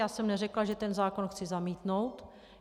Já jsem neřekla, že ten zákon chci zamítnout.